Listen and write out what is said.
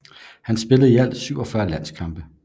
Han spillede i alt 47 landskampe